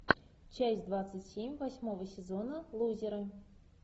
часть двадцать семь восьмого сезона лузеры